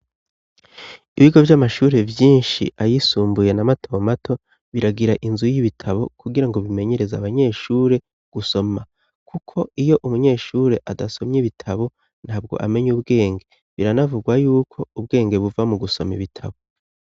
Ibigo vy'amashuri vyinshi ayisumbuye na mato mato biragira inzu y'ibitabo kugirango bimenyereza abanyeshure gusoma kuko iyo umunyeshure adasomye ibitabo ntabwo amenya ubwenge biranavugwa yuko ubwenge buva mu gusoma ibitabo.